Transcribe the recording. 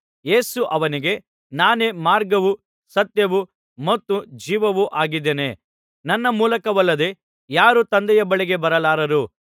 ಯೇಸು ಅವನಿಗೆ ನಾನೇ ಮಾರ್ಗವೂ ಸತ್ಯವೂ ಮತ್ತು ಜೀವವೂ ಆಗಿದ್ದೇನೆ ನನ್ನ ಮೂಲಕವಲ್ಲದೆ ಯಾರೂ ತಂದೆಯ ಬಳಿಗೆ ಬರಲಾರರು